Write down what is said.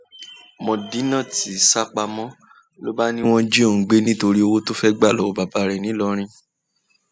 medinat sá pamọ ló bá ní wọn jí òun gbé nítorí owó tó fẹẹ gbà lọwọ bàbá ẹ ńìlọrin